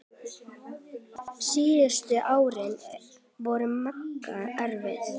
Síðustu árin voru Magga erfið.